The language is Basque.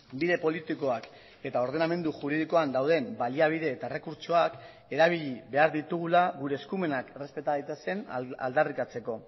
bide politikoak eta ordenamendu juridikoan dauden baliabide eta errekurtsoak erabili behar ditugula gure eskumenak errespeta daitezen aldarrikatzeko